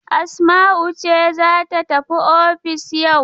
Asma'u ce za ta tafi ofis yau.